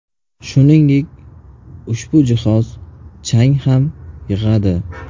Shuningdek, ushbu jihoz chang ham yig‘adi.